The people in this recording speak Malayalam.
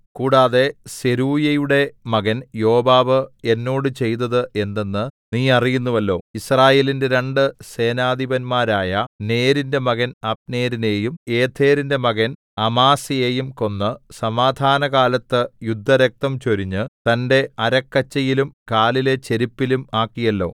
കൂടാതെ സെരൂയയുടെ മകൻ യോവാബ് എന്നോട് ചെയ്തത് എന്തെന്ന് നീ അറിയുന്നുവല്ലോ യിസ്രായേലിന്റെ രണ്ട് സേനാധിപന്മാരായ നേരിന്റെ മകൻ അബ്നേരിനെയും യേഥെരിന്റെ മകൻ അമാസയെയും കൊന്ന് സമാധാനകാലത്ത് യുദ്ധരക്തം ചൊരിഞ്ഞ് തന്റെ അരക്കച്ചയിലും കാലിലെ ചെരിപ്പിലും ആക്കിയല്ലോ